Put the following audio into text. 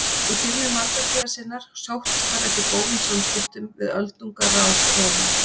Í byrjun valdatíðar sinnar sóttist hann eftir góðum samskiptum við öldungaráð Rómar.